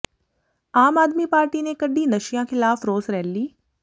ਆਮ Aadmi party ਨੇ ਕੱਢੀ ਨਸ਼ਿਆਂ ਖਿਲਾਫ ਰੋਸ ਰੈਲੀ